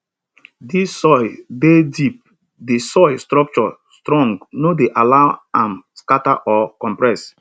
dis soil dey keep di soil structure strong no dey allow am scatter or compress